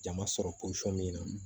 Jama sɔrɔ posɔn min na